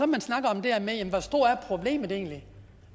man snakker om det her med hvor stort problemet egentlig